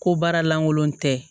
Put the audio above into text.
Ko baara lankolon tɛ